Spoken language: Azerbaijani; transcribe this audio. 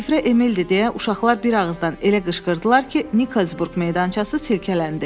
Şifrə Emildir deyə uşaqlar bir ağızdan elə qışqırdılar ki, Nikolsburq meydançası silkələndi.